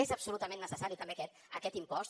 és absolutament necessari també aquest impost